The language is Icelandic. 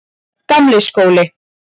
Gamli skóli